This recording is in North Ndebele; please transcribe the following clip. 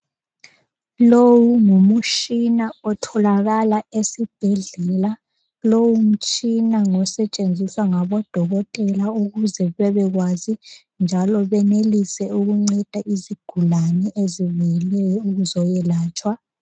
Lowu ngumushina otholakala esibhedlela lowu mtshina ngosetshenziswa ngabodokotela ukuze babe kwazi njalo benelise ukunceda izigulane ezibuyileyo ukuzoyelatshwa.